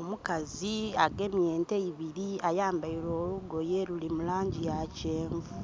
Omukazi agemye ente ibiri ayambaile olugoye, luli mu langi ya kyenvu.